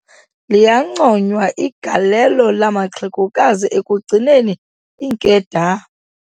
Liyanconywa igalelo lamaxehegokazi ekugcineni iinkedama.